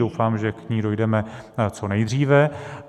Doufám, že k ní dojdeme co nejdříve.